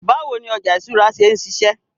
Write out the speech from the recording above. Báwo ni ọjà ìṣúra ṣe ń ṣiṣẹ́?